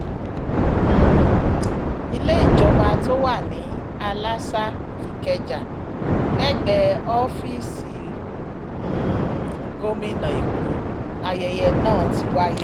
um ilé ìjọba tó wà ní alasa ikeja lẹ́gbẹ̀ẹ́ ọ́fíìsì um gómìnà èkó láyẹyẹ náà ti wáyé